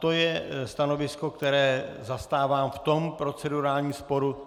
To je stanovisko, které zastávám v tom procedurálním sporu.